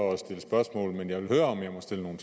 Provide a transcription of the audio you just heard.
at stille spørgsmål men jeg vil høre om jeg må stille nogle